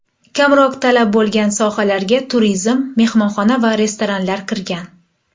Kamroq talab bo‘lgan sohalarga turizm, mehmonxona va restoranlar kirgan.